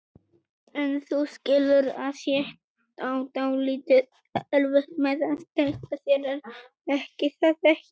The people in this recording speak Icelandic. En þú skilur að ég á dálítið erfitt með að treysta þér, er það ekki?